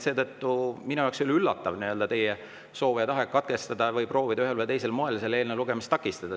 Seetõttu minu jaoks ei ole üllatav teie soov ja tahe katkestada või proovida ühel või teisel moel selle eelnõu lugemist takistada.